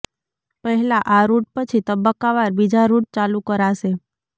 પહેલા આ રૂટ પછી તબક્કાવાર બીજા રૂટ ચાલુ કરાશે